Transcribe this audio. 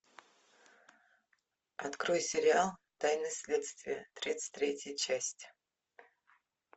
открой сериал тайны следствия тридцать третья часть